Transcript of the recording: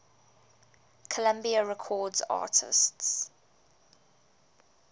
columbia records artists